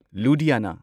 ꯂꯨꯙꯤꯌꯥꯅꯥ